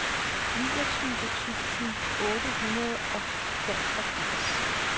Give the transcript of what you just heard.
niogtyve tusind otte hundrede og femogfirs